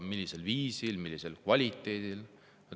Millisel viisil, millise kvaliteediga?